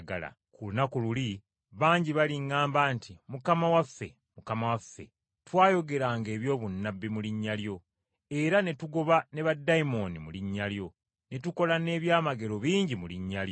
Ku lunaku Iuli bangi baliŋŋamba nti, ‘Mukama waffe, Mukama waffe, twayogeranga eby’obunnabbi mu linnya lyo, era ne tugoba ne baddayimooni mu linnya lyo, ne tukola n’ebyamagero bingi mu linnya lyo.’